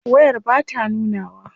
Wayar bata nunawa.